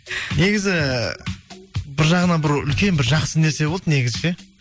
негізі бір жағынан бір үлкен бір жақсы нәрсе болды негізі ше